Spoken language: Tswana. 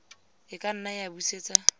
a ka nna a busetsa